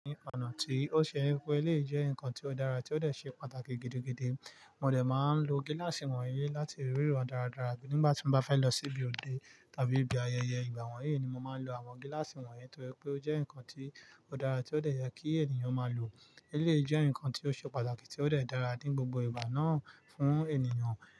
Ọ̀nà tí ó ṣe, pé eléyìí jẹ́ nǹkan tí ó dára tí ó dẹ̀ ṣe pàtàkì gidi-gidi. Mo dẹ̀ máa ń lo gíláàsì wọ̀nyí láti ríran dáradára nígbà tí mo bá fẹ́ lọ sí ibi òde tàbí ibi ayẹyẹ ìgbà wọ̀nyí ni mo máa ń lo àwọn gíláàsì wọ̀nyí torí pé ó jẹ́ nǹkan tí ó dára tí ó dẹ̀ yẹ kí ènìyàn máa lò. Eléyìí jẹ́ nǹkan tí ó ṣe pàtàkì tí ó dẹ̀ dára ní gbogbo ìgbà náà fún ènìyàn.